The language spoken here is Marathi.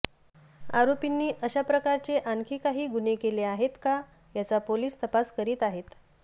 आरोपींनी अशा प्रकारचे आणखी काही गुन्हे केले आहेत का याचा पोलिस तपास करीत आहेत